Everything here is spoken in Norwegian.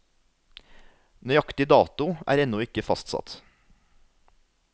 Nøyaktig dato er ennå ikke fastsatt.